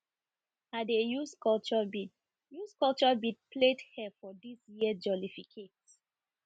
i dey use culture bead use culture bead plat hair for dis year jollificate